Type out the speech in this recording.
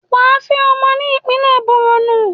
Wà á fẹ́ ọmọ ní ìpínlẹ̀ Bọ̀rọ̀nú.